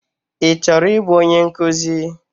Ị chọrọ ịbụ onye nkụzi?